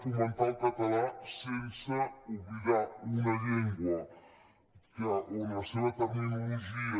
fomentar el català sense oblidar una llengua on la seva terminologia